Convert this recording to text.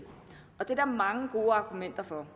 og det er der mange gode argumenter for